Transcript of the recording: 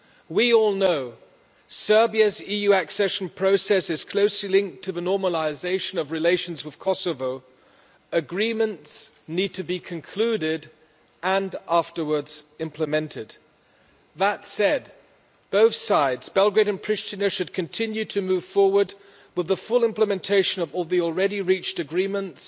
We all know Serbia's EU accession process is closely linked to the normalisation of relations with Kosovo. Agreements need to be concluded and, afterwards, implemented. That said, both sides Belgrade and Priština should continue to move forward with the full implementation of the already-reached agreements